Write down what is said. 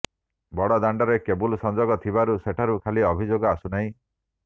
ବଡ଼ଦାଣ୍ଡରେ କେବୁଲ ସଂଯୋଗ ଥିବାରୁ ସେଠାରୁ ଖାଲି ଅଭିଯୋଗ ଆସୁନାହିଁ